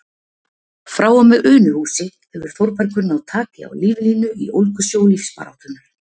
Frá og með Unuhúsi hefur Þórbergur náð taki á líflínu í ólgusjó lífsbaráttunnar.